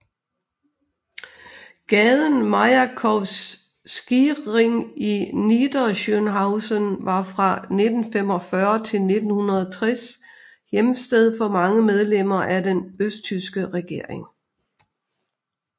Gaden Majakowskiring i Niederschönhausen var fra 1945 til 1960 hjemsted for mange medlemmer af den østtyske regering